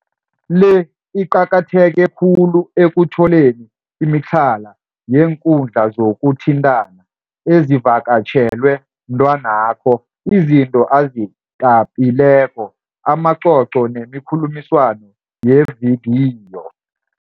le iqakatheke khulu ekutholeni imitlhala yeenkundla zokuthintana ezivakatjhelwe mtwanakho, izinto azitapileko, amacoco nemikhulumiswano yevidiyo